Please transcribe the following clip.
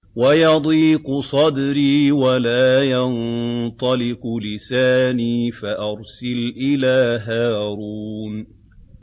وَيَضِيقُ صَدْرِي وَلَا يَنطَلِقُ لِسَانِي فَأَرْسِلْ إِلَىٰ هَارُونَ